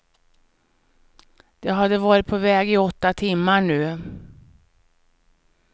De hade varit på väg i åtta timmar nu.